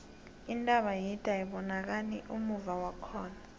intaba yide ayibonakani ummuva wakhona